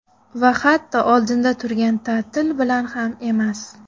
Va hatto oldinda turgan ta’til bilan ham emas.